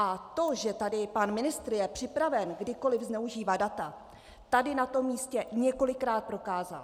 A to, že tady pan ministr je připraven kdykoliv zneužívat data, tady na tom místě několikrát prokázal.